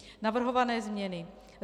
Navrhované změny.